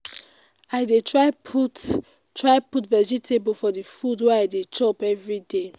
i dey try put try put vegetable for the food wey i dey chop everyday